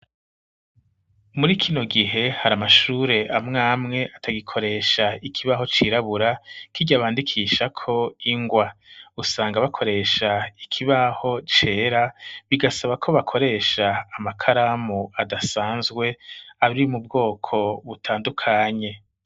Muri kino gihe, hari amashure amwe amwe atagikoresha ikibaho cirabura, kirya bandikishako ingwa. Usanga bakoresha ikibaho cera, bigasaba ko bakoresha amakaramu adasanzwe, ari mu bwoko butandukanye.